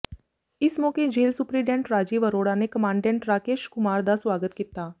ਇਸ ਮੌਕੇ jail superintendent Rajiv Arora ਨੇ ਕਮਾਂਡੈਂਟ ਰਾਕੇਸ਼ ਕੁਮਾਰ ਦਾ ਸਵਾਗਤ ਕੀਤਾ